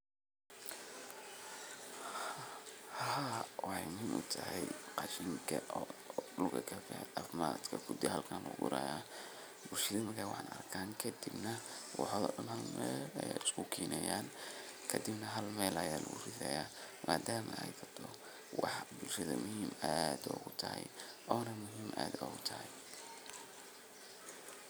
Hawshan waxay muhiim weyn ugu leedahay bulshada dhexdeeda sababtoo ah waxay kor u qaadaysaa nolol wadajir ah oo bulshada dhexdeeda ka hanaqaada. Marka nin haan ag taagan la tuso, waxa uu tilmaamayaa in uu ka qayb qaadanayo howlo muhiim u ah deegaanka sida uruurinta biyaha, ilaalinta nadaafadda, ama xataa hawlo dhaqan oo dhaqaalaha bulshada horumariya. Ninkaasi wuxuu astaan u yahay dadaal iyo is xilqaamid uu muwaadin u sameeyo bulshadiisa si loo gaaro nolol wanaagsan